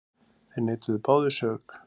Þeir neituðu báðir sök.